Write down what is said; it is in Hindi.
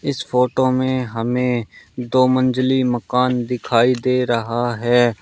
इस फोटो में हमें दो मंजली मकान दिखाई दे रहा है।